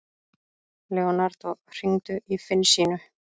Leonardo, hringdu í Finnsínu.